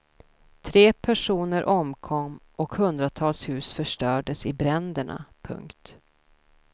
Tre personer omkom och hundratals hus förstördes i bränderna. punkt